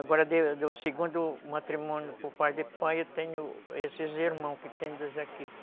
Agora, do segundo matrimônio por pai de pai, eu tenho esses irmãos que tem dois aqui.